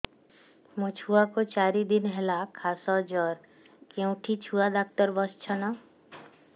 ମୋ ଛୁଆ କୁ ଚାରି ଦିନ ହେଲା ଖାସ ଜର କେଉଁଠି ଛୁଆ ଡାକ୍ତର ଵସ୍ଛନ୍